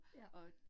Ja